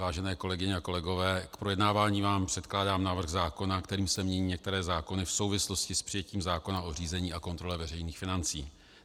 Vážené kolegyně a kolegové, k projednávání vám předkládám návrh zákona, kterým se mění některé zákony v souvislosti s přijetím zákona o řízení a kontrole veřejných financí.